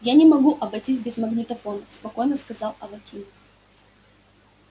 я не могу обойтись без магнитофона спокойно сказал аваким